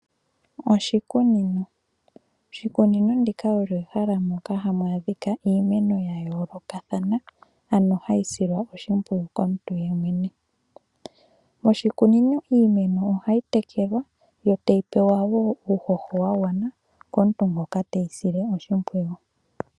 Oshikunino osho ehala moka hamu adhika iimeno yayoolokathana , ano hayi silwa oshimpwiyu komuntu yemwene . Moshikunino iimeno ohayi tekelwa. Yo tayi pewa woo uuhoho wagwana komuntu ngoka teyi sile oshimpwiyu.